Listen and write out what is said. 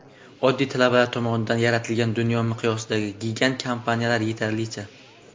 Oddiy talabalar tomonidan yaratilgan dunyo miqyosidagi gigant kompaniyalar yetarlicha.